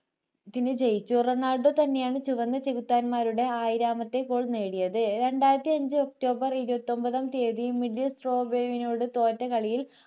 ജയിച്ചു റൊണാൾഡോ തന്നെയാണ് ചുവന്ന ചെകുത്താന്മാരുടെ ആയിരാമത്തെ goal നേടിയത് രണ്ടായിരത്തി അഞ്ചു ഒക്ടോബർ ഇരുപത്തി ഒൻപതാം തീയതി middle stobraim നോട് തോറ്റ കളിയിൽ